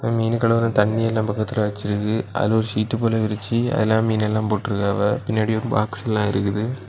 மீனு கழுவுற தண்ணியெல்லா பக்கத்துல வச்சிருக்கு அதுல ஒரு சீட்டு போல விரிச்சு அதுல மீன் எல்லாம் போட்ருக்காவ பின்னாடி ஒரு பாக்ஸ் எல்லாம் இருக்குது.